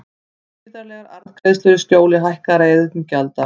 Gríðarlegar arðgreiðslur í skjóli hækkaðra iðgjalda